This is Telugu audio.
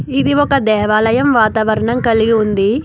ఇది ఒక దేవాలయం వాతావరణం కలిగి ఉంది.